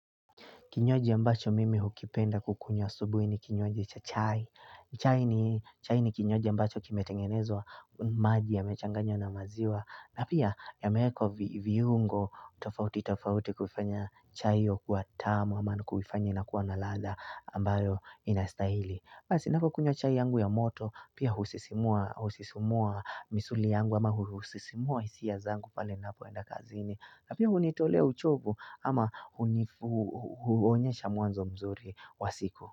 Kinywaji ambacho mimi hukipenda kukunywa asubuhi ni kinywaji cha chai. Chai ni kinywaji ambacho kimetengenezwa maji yamechanganywa na maziwa. Na pia yameko viungo tofauti tofauti kufanya chai hiyo kuwa tamu ama nukufanya inakuwa na ladha ambayo inastahili. Pia sinako kunywa chai yangu ya moto, pia husisimua misuli yangu ama husisimua hisia zangu pale napoenda kazini. Na pia unitolea uchovu ama huonyesha mwanzo mzuri wa siku.